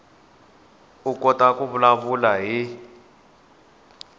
u kota ku vulavula hi